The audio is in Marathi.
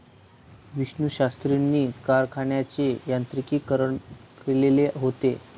विष्णूशास्त्रींनी कारखान्याचे यांत्रिकीकरण केलेले होते.